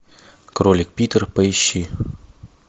кролик питер поищи